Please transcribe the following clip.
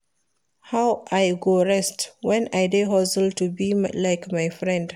How I go rest wen I dey hustle to be like my friend.